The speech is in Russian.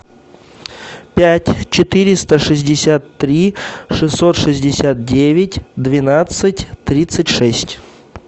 пять четыреста шестьдесят три шестьсот шестьдесят девять двенадцать тридцать шесть